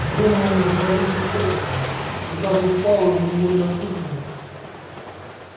донован разразился хохотом и даже пауэлл невольно фыркнул